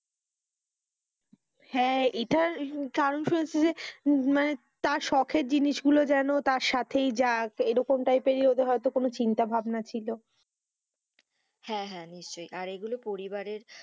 হেঁ, এটার যে মানে তার সকের জিনিস গুলো যেনো যেন তার সাথেই যাক এরকম type এর তাদের হয়তো কোনো চিন্তা ভাবনা ছিল, হেঁ, নিশ্চই আর এগুলো পরিবারের,